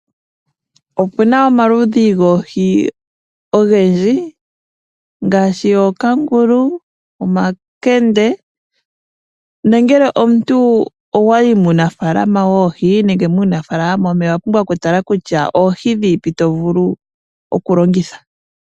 Opuna omaludhi goohi ogendji ngaashi ookangulu, omankende nongele omuntu owayi muunafaalama woohi nenge muunafalama womeya, owapumbwa okutala kutya oohi dhiipi tovulu okulongitha.